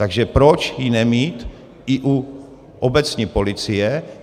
Takže proč ji nemít i u obecní policie?